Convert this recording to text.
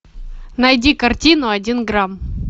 найди картину один грамм